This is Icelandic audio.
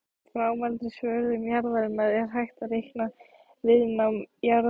Frá mældri svörun jarðarinnar er hægt að reikna viðnám jarðlaga.